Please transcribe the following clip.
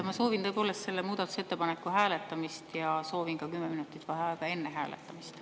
Ma soovin tõepoolest selle muudatusettepaneku hääletamist ja soovin ka kümme minutit vaheaega enne hääletamist.